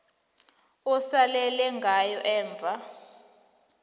osalele ngayo emva